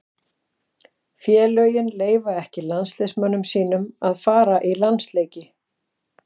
Félögin leyfa ekki landsliðsmönnum sínum að fara í landsleiki.